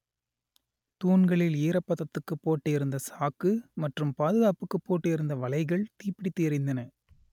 தூண்களில் ஈரப்பதத்துக்கு போட்டு இருந்த சாக்கு மற்றும் பாதுகாப்புக்கு போட்டு இருந்த வலைகள் தீப்பிடித்து எரிந்தன